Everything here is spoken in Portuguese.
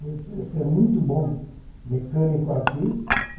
Você ser muito bom mecânico aqui.